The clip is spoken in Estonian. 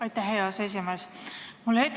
Aitäh, hea aseesimees!